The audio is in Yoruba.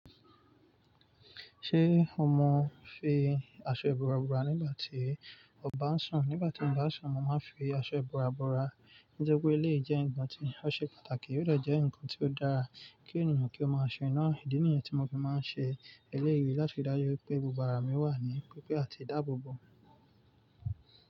Ṣé ọ mọ fi aṣọ ìbora bora nígbà tí o ba ń sùn? Nígbà tí mo ba ń sùn, mọ máa ń fi aṣọ ìbora-bora. Nítori pé eléyìí jẹ́ ǹkan tí ó ṣe pàtàkì, ó de jẹ́ ǹkan tí ó dára kí ènìyàn kí ó máa ṣe na Ìdí nìyẹn tí mo fi máa ń ṣe eléyìí láti fi dájú pé gbogbo mi wà ní pípé àti ìdáàbòbò.